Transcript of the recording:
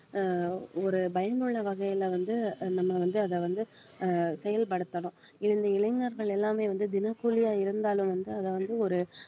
அஹ் ஒரு பயனுள்ள வகையில வந்து நம்ம வந்து அதை வந்து ஆஹ் செயல்படுத்தணும் இளைஞர்கள் எல்லாமே வந்து தினக்கூலியா இருந்தாலும் வந்து அதை வந்து ஒரு